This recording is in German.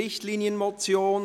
Richtlinienmotion»